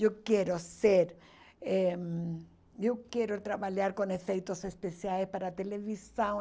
Eu quero ser eh Eu quero trabalhar com efeitos especiais para televisão.